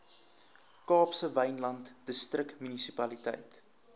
kaapse wynland distriksmunisipaliteit